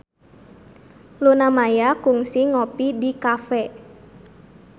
Luna Maya kungsi ngopi di cafe